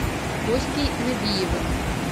костей набиевым